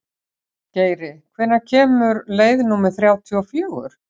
Geiri, hvenær kemur leið númer þrjátíu og fjögur?